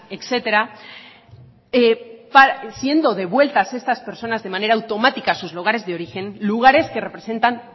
etcétera siendo devueltas estas personas de manera automática a sus lugares de origen lugares que representan